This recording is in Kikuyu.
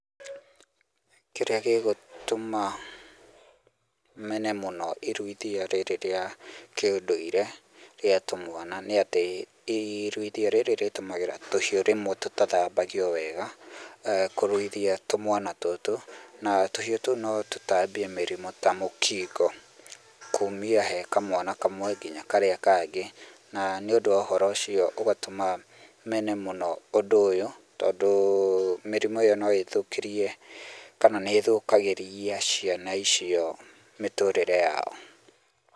Kĩrĩa gĩgũtũma mene mũno iruithia rĩrĩ rĩa kĩndũire rĩa tũmwana nĩ atĩ, iruithia rĩrĩ rĩtũmagĩra tũhiũ rĩmwe tũtathambagio wega kũruithia tũmwana tũtũ . Na tũhiũ tũu rĩmwe notũtambie mĩrimũ ta mĩkingo , kuumia hekamwana kamwe nginya karĩa kangĩ. Na ũndũ ũcio ũgatũma mene mũno ũndũ ũyũ, tondũ mĩrimũ ĩyo noĩthũkĩrie, kana nĩthũkagĩria ciana icio mĩtũrĩre yao.